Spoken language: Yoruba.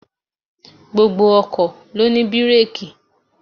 Gbogbo ọkọ̀ ló ní bireeki.